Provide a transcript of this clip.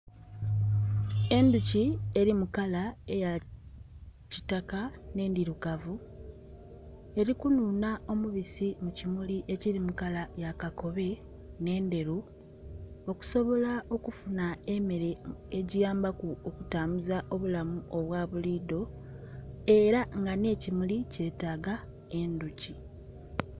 Endhuki eri mukala eya kitaka nhe endhirugavu eri ku nuunha omubisi mulimu ekiri mu kala eya kakobe nhe endheru okusobola okufuna emmere egiyambaku kitambuza obulamu obwa bulidho era nga nhe kimuli kyetaga endhuki.